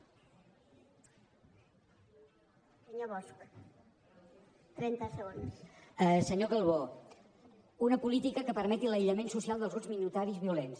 senyor calbó una política que permeti l’aïllament social dels grups minoritaris violents